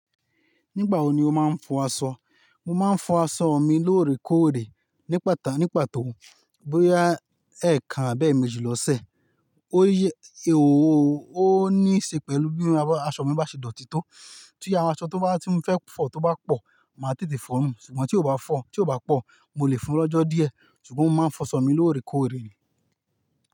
Nígbà wo ni o máa ń fọ aṣọ? Mo máa ń fọ aṣọ mi lóòrèkóòrè ní pàtà-- ní pàtó bóyá ẹ̀ẹ̀kan àbẹ́ẹ̀méjì lọ́sẹ̀. Ó yẹ-- ó níí ṣe pẹ̀lú bí aṣọ mi bá ṣe dọ̀tí tó. Tí iye awon aṣọ tó bá tí mo fẹ́ fọ tó bá pọ̀, màá tètè fọ̀ọ́ nù. Ṣùgbọ́n tí ó bá fọ́, tí ó bá pọ̀, mo lè fún-un lọ́jọ́ díẹ̀. Ṣùgbọ́n mo máa ń fọṣọ mi lóòrèkóòrè ni.